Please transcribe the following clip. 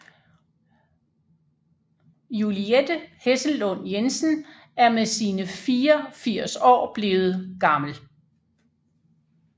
Juliette Hessellund Jensen er med sine 84 år blevet gammel